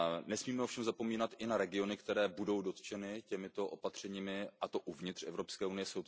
Nesmíme ovšem zapomínat i na regiony, které budou dotčeny těmito opatřeními, a to uvnitř Evropské unie.